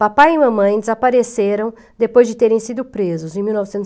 Papai e mamãe desapareceram depois de terem sido presos, em mil novecentos e